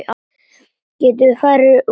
Getum við farið núna?